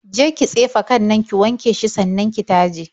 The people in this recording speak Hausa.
Je ki tsefe kan nan, ki wanke shi sannan ki taje.